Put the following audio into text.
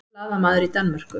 Blaðamaður í Danmörku